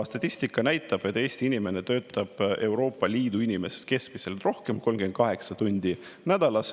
Statistika näitab, et Eesti inimene töötab Euroopa Liidu inimestest keskmiselt rohkem: 38 tundi nädalas.